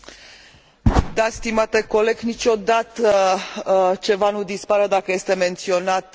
Niciodată ceva nu dispare dacă este menționat într un raport.